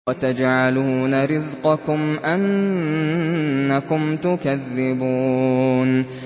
وَتَجْعَلُونَ رِزْقَكُمْ أَنَّكُمْ تُكَذِّبُونَ